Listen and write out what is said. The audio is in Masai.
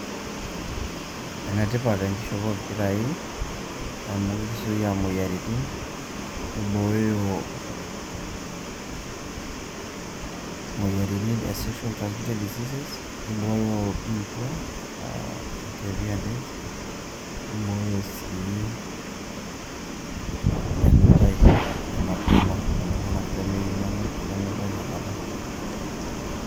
Ene tipat enkishopo ompirai amu kisuia imoyiritin nibooyo imoyiritin e sexual transmitted diseases, nibooyo biitia aa HIV&AIDS nibooyo sii enutai emapema ooltunganak lemeyieu nenuta inakata.